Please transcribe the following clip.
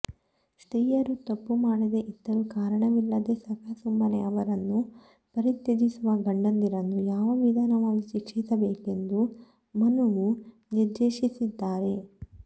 ಸ್ತ್ರೀಯರು ತಪ್ಪು ಮಾಡದೇ ಇದ್ದರೂ ಕಾರಣವಿಲ್ಲದೇ ಸಖಾಸುಮ್ಮನೇ ಅವರನ್ನು ಪರಿತ್ಯಜಿಸುವ ಗಂಡಂದಿರನ್ನು ಯಾವ ವಿಧವಾಗಿ ಶಿಕ್ಷಿಸಬೇಕೆಂದು ಮನುವು ನಿರ್ದೇಶಿಸಿದ್ದಾನೆ